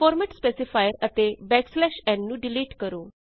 format specifier ਅਤੇ n ਨੂੰ delete ਕਰੋ